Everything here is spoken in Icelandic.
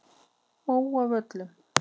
Móavöllum